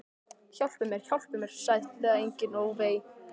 Hjálpi mér, hjálpi mér, sætlega enginn, ó vei.